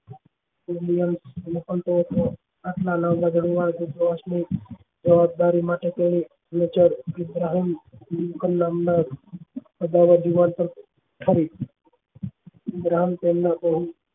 જવાબદારી માટે તેની નજર પ્રહરી લિંકન નામ ના અજાણ્યા જુવાન પર ફરી